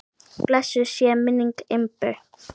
Blessuð sé minning Imbu.